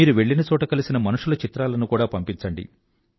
మీరు వెళ్ళిన చోట కలిసిన మనుషుల చిత్రాలను కూడా పంపించండి